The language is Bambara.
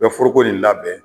Bɛ foroko nin labɛn